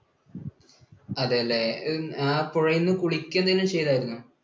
അതേ അല്ലെ? ആ പുഴയിൽനിന്ന് കുളിക്കുകയോ എന്തെങ്കിലും ചെയ്തായിരുന്നോ?